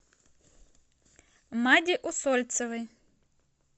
маде усольцевой